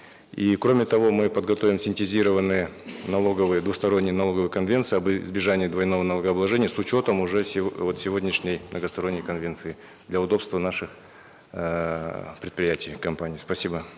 и кроме того мы подготовим синтезированные налоговые двусторонние налоговые конвенции об избежании двойного налогообложения с учетом уже вот сегодняшней многосторонней конвенции для удобства наших эээ предприятий компаний спасибо